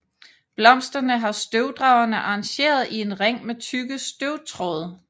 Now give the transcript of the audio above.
Blomsterne har støvdragerne arrangeret i en ring med tykke støvtråde